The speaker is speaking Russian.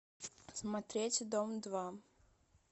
смотреть дом два